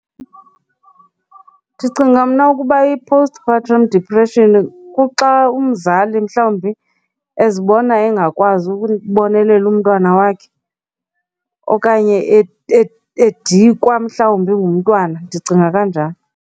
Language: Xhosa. Ndicinga mna ukuba i-post partum depression kuxa umzali mhlawumbi ezibona engakwazi ukubonelela umntwana wakhe okanye edikwa mhlawumbi ngumntwana, ndicinga kanjalo.